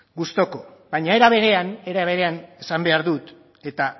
gustuko baina era berean esan behar dut eta